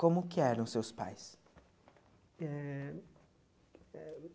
Como que eram seus pais? Eh